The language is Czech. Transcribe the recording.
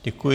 Děkuji.